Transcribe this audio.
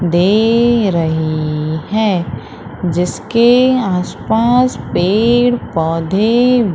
दे रही है जिसके आस पास पेड़ पौधे--